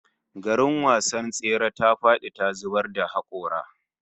Garin wasan tsere ta fadi ta zubar da hakora